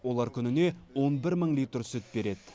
олар күніне он бір мың литр сүт береді